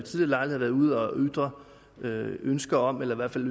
lejligheder været ude at ytre ønske om eller i hvert fald